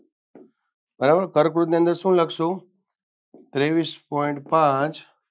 બરાબર કર્કવૃતની અંદર શું લખશુ ત્રેવીશ point પાંચ